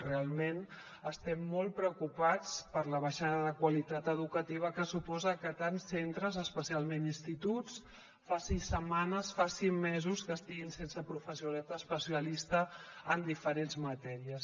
realment estem molt preocupats per la baixada de qualitat educativa que suposa que tants centres especialment instituts faci setmanes faci mesos que estiguin sense professorat especialista en diferents matèries